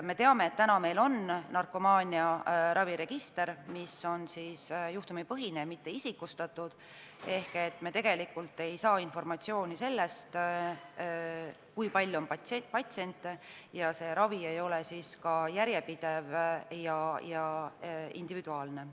Me teame, et meil on juhtumipõhine narkomaaniaraviregister, mitte isikustatud, ehk me tegelikult ei saa informatsiooni selle kohta, kui palju on patsiente, ning ravi ei ole ka järjepidev ja individuaalne.